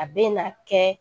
A bɛ na kɛ